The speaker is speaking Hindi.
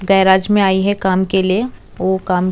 गैराज में आई है काम के लिए वो काम--